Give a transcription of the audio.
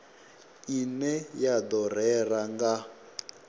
ine ya do rera nga